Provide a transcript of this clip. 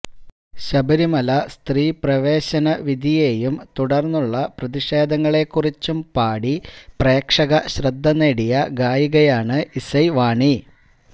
ശബരിമല സ്ത്രീ പ്രവേശന വിധിയെയും തുടർന്നുള്ള പ്രതിഷേധങ്ങളെക്കുറിച്ചും പാടി പ്രേക്ഷക ശ്രദ്ധ നേടിയ ഗായികയാണ് ഇസൈവാണി